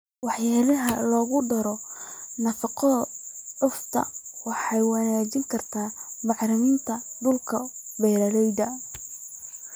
Waxyaalaha lagu daro nafaqo-cufan waxay wanaajin kartaa bacrinta dhulka beeralayda.